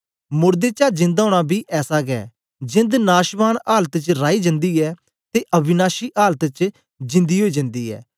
मोड़दें दा जिंदा ओना बी ऐसा गै जेंद नाशवान आलत च राई जन्दी ऐ ते अविनाशी आलत च जींदी ओई जन्दी ऐ